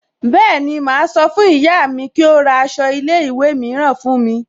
Bẹ́ẹ̀ni, máa sọ fún ìyá mi kí ó ra aṣọ ilé ìwé mìíràn fún mi